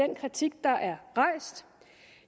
den kritik der er rejst